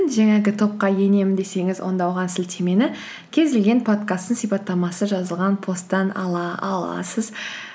жаңағы топқа енемін десеңіз онда оған сілтемені кез келген подкасттың сипаттамасы жазылған посттан ала аласыз